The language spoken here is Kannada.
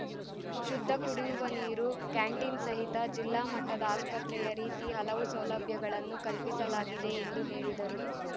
ಶುದ್ದ ಕುಡಿಯುವ ನೀರು ಕ್ಯಾಂಟೀನ್‌ ಸಹಿತ ಜಿಲ್ಲಾ ಮಟ್ಟದ ಆಸ್ಪತ್ರೆಯ ರೀತಿ ಹಲವು ಸೌಲಭ್ಯಗಳನ್ನು ಕಲ್ಪಿಸಲಾಗಿದೆ ಎಂದು ಹೇಳಿದರು